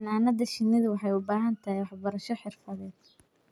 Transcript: Xannaanada shinnidu waxay u baahan tahay waxbarasho xirfadeed.